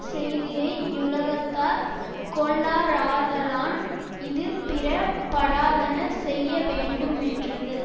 செய்தியை யுலகத்தார் கொள்ளாராதலான் இது பிற படாதன செய்யவேண்டு மென்றது